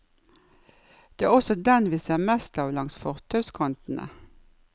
Det er også den vi ser mest av langs fortauskantene.